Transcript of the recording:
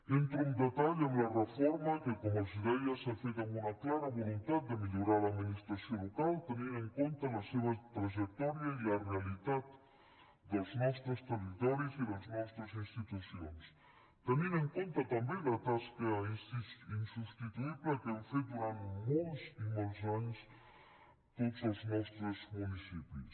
entro en detall en la reforma que com els deia s’ha fet amb una clara voluntat de millorar l’administració local tenint en compte la seva trajectòria i la realitat dels nostres territoris i les nostres institucions tenint en compte també la tasca insubstituïble que han fet durant molts i molts anys tots els nostres municipis